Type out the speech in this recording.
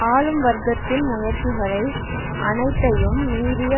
ஆளும்வர்க்கத்தின் முயற்சிகளை அனைத்தையும் மீறிய